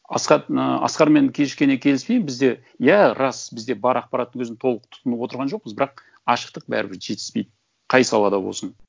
асхат мына асқармен кішкене келіспеймін бізде иә рас бізде бар ақпарат өзін толық тұтынып отырған жоқпыз бірақ ашықтық бәрібір жетіспейді қай салада болсын